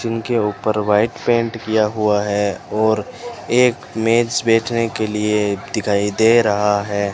Tin के ऊपर white paint किया हुआ है और एक मेज़ बैठने के लिए दिखाई दे रहा है।